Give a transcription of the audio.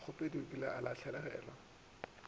mokgopedi o kile a lahlegelwa